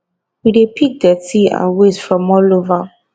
we dey pick dirty and wastes from all over